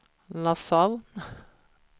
Nassau